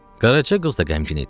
Qaraca qız da qəmgin idi.